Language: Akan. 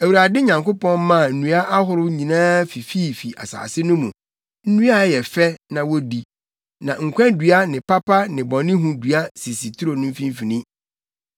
Awurade Nyankopɔn maa nnua ahorow nyinaa fifi fii asase no mu; nnua a ɛyɛ fɛ na wodi. Na nkwa dua ne papa ne bɔnehu dua sisi turo no mfimfini.